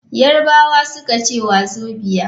Yarbawa suka ce wazobia.